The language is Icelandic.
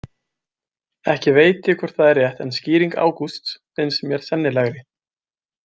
Ekki veit ég hvort það er rétt en skýring Ágústs finnst mér sennilegri.